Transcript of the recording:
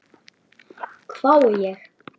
hvái ég.